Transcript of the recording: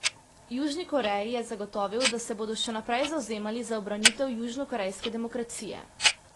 Južni Koreji je zagotovil, da se bodo še naprej zavzemali za ubranitev južnokorejske demokracije.